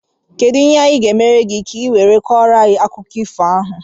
Kedụ ihe anyị gá emere gị, ka i wee Koro anyị akụkọ ifo a?